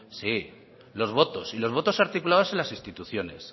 sí los votos y los votos articulados en las instituciones